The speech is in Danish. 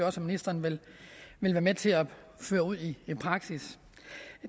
også ministeren vil være med til at føre ud i praksis